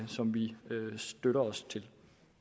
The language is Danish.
som vi støtter os til